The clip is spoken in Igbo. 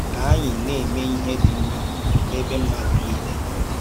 Kà ànyì Na-èmè Ìhè dị́ Mmá n’ẹ̀bè Mmádù Nílè nọ.”